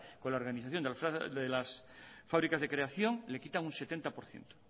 con la organización de las fábricas de creación le quitan un setenta por ciento